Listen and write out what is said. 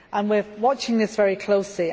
We are watching this very closely.